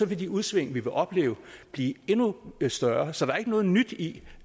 vil de udsving vi vil opleve blive endnu større så der er ikke noget nyt i